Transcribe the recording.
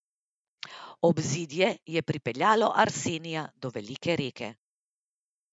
Obzidje je pripeljalo Arsenija do Velike reke.